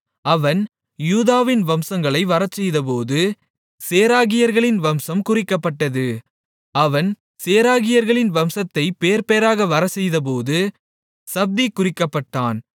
அவன் யூதாவின் வம்சங்களை வரச்செய்தபோது சேராகியர்களின் வம்சம் குறிக்கப்பட்டது அவன் சேராகியர்களின் வம்சத்தைப் பேர்பேராக வரச்செய்தபோது சப்தி குறிக்கப்பட்டான்